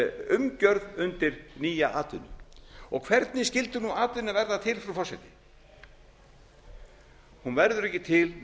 umgjörð undir nýja atvinnu hvernig skyldi nú atvinna verða til frú forseti hún verður ekki til nema